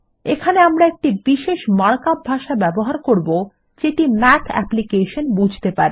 এখানে আমরা একটি বিশেষ মার্কআপ ভাষা ব্যবহার করবো যেটি মাথ অ্যাপ্লিকেশন বুঝতে পারে